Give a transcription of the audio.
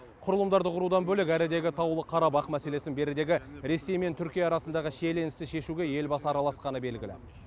құрылымдарды құрудан бөлек әрідегі таулы қарабах мәселесін берідегі ресей мен түркия арасындағы шиеленісті шешуге елбасы араласқаны белгілі